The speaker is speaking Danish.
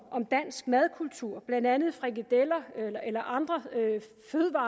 dansk madkultur blandt andet frikadeller